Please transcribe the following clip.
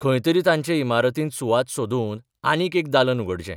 खंय तरी तांचे इमारतींत सुवात सोदून आनीक एक दालन उगडचें.